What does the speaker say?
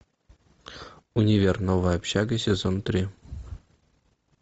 универ новая общага сезон три